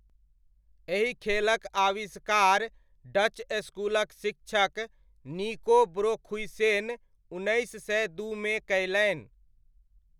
एहि खेलक आविष्कार डच स्कूलक शिक्षक निको ब्रोखुइसेन उन्नैस सय दूमे कयलनि।